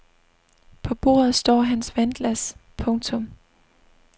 På bordet står hans vandglas. punktum